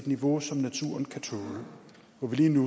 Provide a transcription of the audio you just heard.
i vores seng